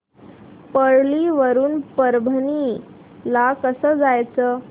परळी वरून परभणी ला कसं जायचं